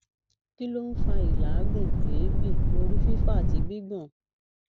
kí ló ń fa ìlaagun eebi orí fifo àti gbigbon